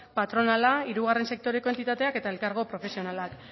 patronala hirugarren sektoreko entitateak eta elkargo profesionalak